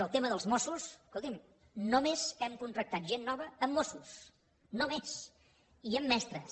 el tema dels mossos escolti’m només hem contractat gent nova en mossos només i en mestres